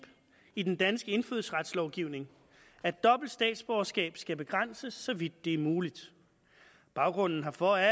i den danske indfødsretslovgivning at dobbelt statsborgerskab skal begrænses så vidt det er muligt baggrunden herfor er